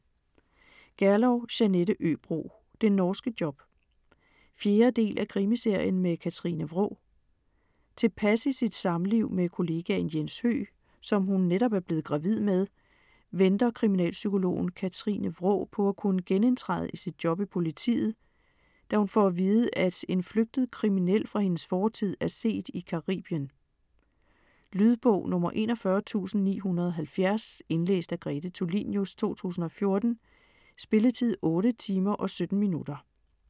Gerlow, Jeanette Øbro: Det norske job 4. del af Krimiserien med Katrine Wraa. Tilpas i sit samliv med kollegaen Jens Høgh, som hun netop er blevet gravid med, venter kriminalpsykologen Katrine Wraa på at kunne genindtræde i sit job i politiet, da hun får at vide, at en flygtet kriminel fra hendes fortid, er set i Caribien. Lydbog 41970 Indlæst af Grete Tulinius, 2014. Spilletid: 8 timer, 17 minutter.